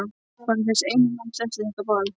Bara þessi eina nótt eftir þetta ball.